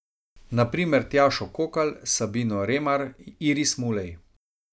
Na primer Tjašo Kokalj, Sabino Remar, Iris Mulej...